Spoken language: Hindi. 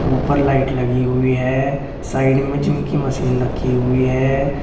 ऊपर लाइट लगी हुई है साइड में जिम की मशीन रखी हुई है।